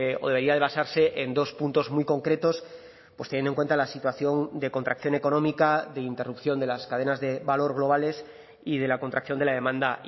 o debería de basarse en dos puntos muy concretos pues teniendo en cuenta la situación de contracción económica de interrupción de las cadenas de valor globales y de la contracción de la demanda